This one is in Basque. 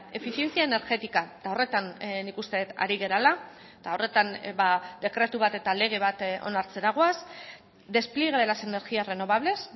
eficiencia energética horretan nik uste dut ari garela eta horretan dekretu bat eta lege bat onartzera goaz despliegue de las energías renovables